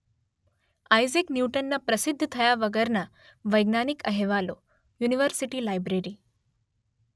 Isaac ન્યૂટનના પ્રસિદ્ધ થયા વગરના વૈજ્ઞાનિક અહેવાલો યુનિવર્સિટી લાઇબ્રેરી